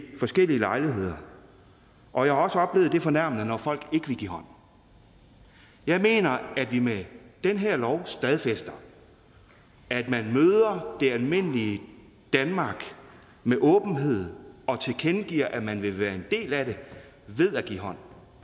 forskellige lejligheder og jeg har også oplevet det fornærmende når folk ikke vil give hånd jeg mener at vi med den her lov stadfæster at man møder det almindelige danmark med åbenhed og tilkendegiver at man vil være en del af det ved at give hånd